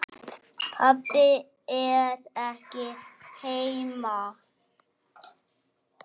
Pabbi er ekki heima.